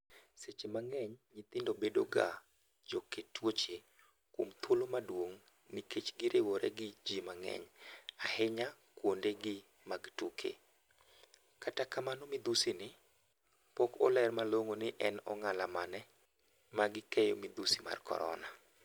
Seche mang'eny nyithindo bedo ga jo kee tuoche, kuom thuolo maduong' nikech giriwore gi ji mang'eny (Ahinya kuonde gi mag tuke), kata kamano midhusi ni , pok oler malong'o ni en ong'ala mane magi keyo midhusi mar korona.